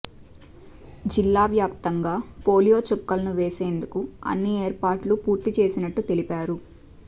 జిల్లావ్యాప్తంగా polio చుక్కలు వేసేందుకు అన్ని ఏర్పాట్లు పూర్తి చేసినట్లు తెలిపారు